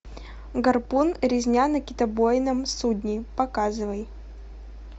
гарпун резня на китобойном судне показывай